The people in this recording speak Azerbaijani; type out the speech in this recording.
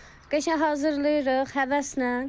Qəşəng hazırlayırıq həvəslə.